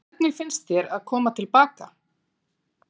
Hvernig finnst þér að koma til baka?